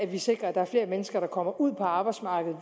vi sikrer at der er flere mennesker der kommer ud på arbejdsmarkedet